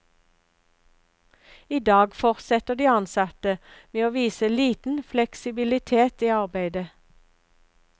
I dag fortsetter de ansatte med å vise liten fleksibilitet i arbeidet.